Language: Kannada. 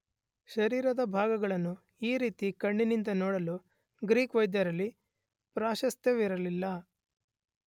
ಶರೀರದ ಭಾಗಗಳನ್ನು ಈ ರೀತಿ ಕಣ್ಣಿನಿಂದ ನೋಡಲು ಗ್ರೀಕ್ ವೈದ್ಯರಲ್ಲಿ ಪ್ರಾಶಸ್ತ್ಯವಿರಲಿಲ್ಲ.